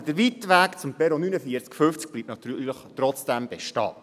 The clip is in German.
Aber der weite Weg zum Perron 49/50 bleibt natürlich trotzdem bestehen.